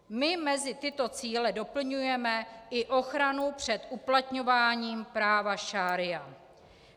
My mezi tyto cíle doplňujeme i ochranu před uplatňováním práva šaría.